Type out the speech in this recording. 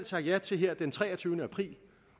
sagt ja til her den treogtyvende april